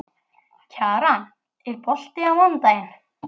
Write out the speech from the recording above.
Kjaran, er bolti á mánudaginn?